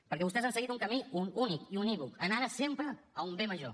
perquè vostès han seguit un camí únic i unívoc en ares sempre d’un bé major